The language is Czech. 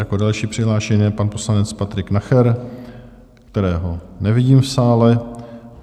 Jako další přihlášený je pan poslanec Patrik Nacher, kterého nevidím v sále.